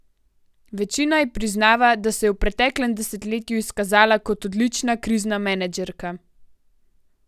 Večina ji priznava, da se je v preteklem desetletju izkazala kot odlična krizna menedžerka.